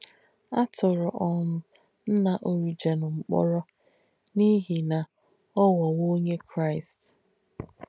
À tùrù um nnà Origen m̀kpọ̀rọ̀ n’íhi nà ọ̀ ghọ́wọ̀ onyè Kráīst.